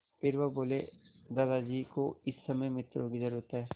फिर वह बोले दादाजी को इस समय मित्रों की ज़रूरत है